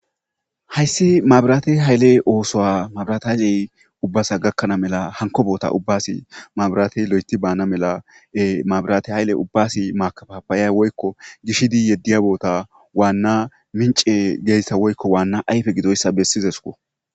Hayissi mabirate hayile osso mabiratehayile ubbasa gakana mela hanikko betta ubba mabirateyi lotithi banna mela makafafaya woyikko gishidi yediya bessa wanna minicce woyiko wanna ayife gidoyissa besizesikko